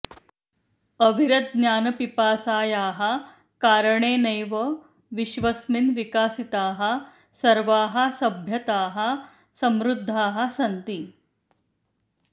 अविरतज्ञानपिपासायाः कारणेनैव विश्वस्मिन् विकसिताः सर्वाः सभ्यताः समृद्धाः सन्ति